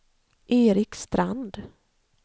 Erik Strand